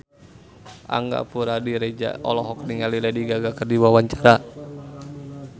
Angga Puradiredja olohok ningali Lady Gaga keur diwawancara